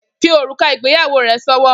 Fi órúká igbéyàwó re sòwò